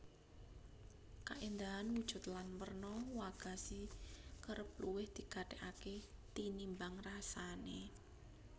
Kaéndahan wujud lan werna wagashi kerep luwih digatèkaké tinimbang rasané